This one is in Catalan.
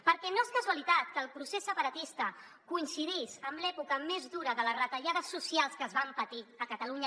perquè no és casualitat que el procés separatista coincidís amb l’època més dura de les retallades socials que es van patir a catalunya